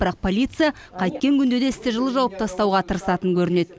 бірақ полиция қайткен күнде де істі жылы жауып тастауға тырысатын көрінеді